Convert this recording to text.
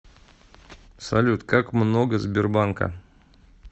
салют как много сбербанка